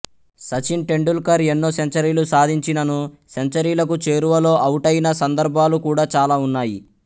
సచిన్ టెండుల్కర్ ఎన్నో సెంచరీలు సాధించిననూ సెంచరీలకు చేరువలో అవుటైన సందర్భాలు కూడా చాలా ఉన్నాయి